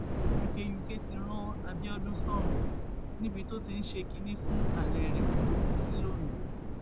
yunke yunke ti ran abiodun sọrùn níbi tó ti ń ṣe kínní fún alẹ rẹ ló kù sí londo